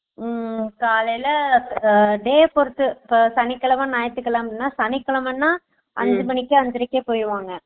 உம காலைல day பொறுத்து சனிக்கிழமை, ஞாயிற்றுக்கிழமை ன, சனிக்கிழமைன அஞ்சு மணிக்கு அஞ்சரைக்கு போயிருவாங்க